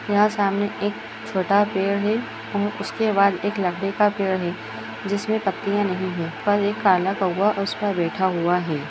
यहाँ सामने एक छोटा पेड़ है और उसके बाद लकड़ी का पेड़ है जिसमे पत्तियां नहीं है पर एक काला कौआ उस पर बैठा हुआ है।